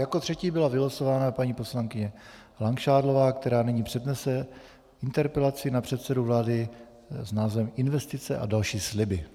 Jako třetí byla vylosována paní poslankyně Langšádlová, která nyní přednese interpelaci na předsedu vlády s názvem investice a další sliby.